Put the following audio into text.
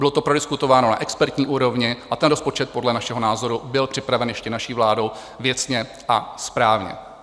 Bylo to prodiskutováno na expertní úrovni a ten rozpočet podle našeho názoru byl připraven ještě naší vládou věcně a správně.